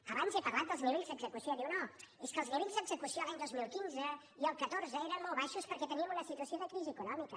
abans he parlat dels nivells d’execució diuen no és que els nivells d’execució de l’any dos mil quinze i el catorze eren molt baixos perquè teníem una situació de crisi econòmica